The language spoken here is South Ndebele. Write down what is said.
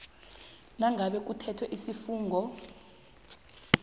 nangabe kuthethwe isifungo